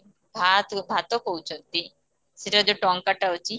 ଭା କୁ ଭାତ କହୁଛନ୍ତି ସେଠାର ଯୋଉ ଟଙ୍କା ଟା ଅଛି